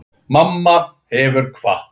Mamma hefur kvatt.